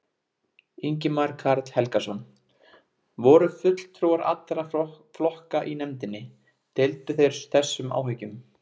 Ingimar Karl Helgason: Voru fulltrúar allra flokka í nefndinni, deildu þeir þessum áhyggjum?